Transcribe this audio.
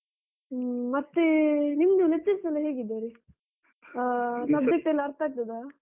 ಹ್ಮ ಮತ್ತೇ ನಿಮ್ದು lectures ಎಲ್ಲ ಹೇಗಿದ್ದಾರೆ? ಆ subject ಎಲ್ಲ ಅರ್ಥ ಆಗ್ತದಾ?